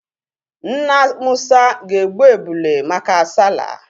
Nna musa ga-egbu ebulu maka sallah?